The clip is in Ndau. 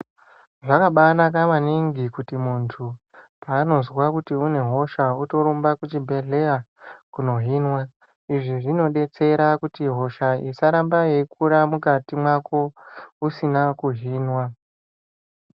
Zvakabanaka maningi kuti muntu Pabozwa une hosha otorumba kuchibhedhlera kundohinwa izvi zvinodetsera kuti hosha isaramba Ayeikura mukati mako usina kuhina.